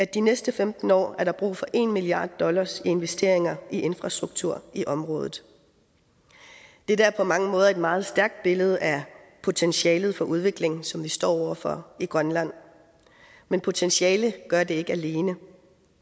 de næste femten år er brug for en milliard dollar i investeringer i infrastruktur i området dette er på mange måder et meget stærkt billede af potentialet for udvikling som vi står over for i grønland men potentiale gør det ikke alene